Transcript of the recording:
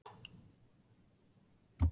Var ég ekki að gera það?